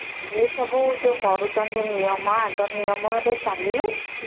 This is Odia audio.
ଏ ସବୁ ଯୋଉ କରୁଛନ୍ତି ନିୟମ ଆଗ ନିୟମ ରେ ଚାଲିଲେ ଠିକ